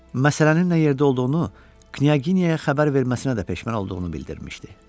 Məsələnin nə yerdə olduğunu Knyaginyaya xəbər verməsinə də peşman olduğunu bildirmişdi.